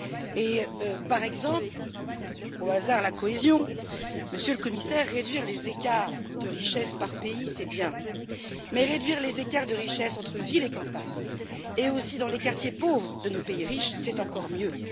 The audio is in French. Et par exemple, au hasard, la cohésion, Monsieur le Commissaire, réduire les écarts de richesse par pays, c'est bien, mais réduire les écarts de richesse entre villes et campagnes et aussi dans les quartiers pauvres de nos pays riches, c'est encore mieux.